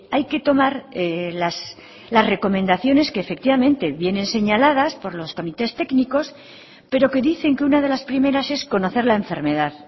hay que tomar las recomendaciones que efectivamente vienen señaladas por los comités técnicos pero que dicen que una de las primeras es conocer la enfermedad